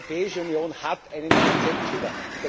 Die Europäische Union hat einen Konzeptfehler!